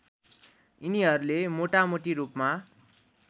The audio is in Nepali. यिनीहरूले मोटामोटी रूपमा